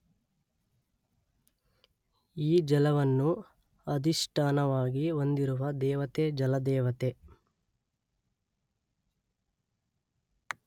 ಈ ಜಲವನ್ನು ಅಧಿಷ್ಠಾನವಾಗಿ ಹೊಂದಿರುವ ದೇವತೆ ಜಲದೇವತೆ